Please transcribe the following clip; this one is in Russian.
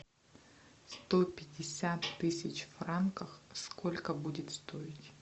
сто пятьдесят тысяч франков сколько будет стоить